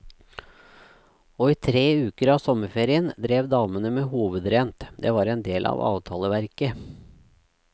Og i tre uker av sommerferien drev damene med hovedrent, det var en del av avtaleverket.